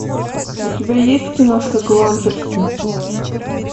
у тебя есть киношка гламперсы